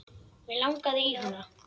Mig langaði í hana.